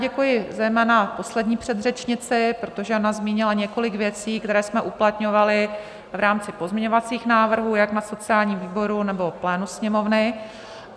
Děkuji zejména poslední předřečnici, protože ona zmínila několik věcí, které jsme uplatňovali v rámci pozměňovacích návrhů jak na sociálním výboru, nebo plénu Sněmovny.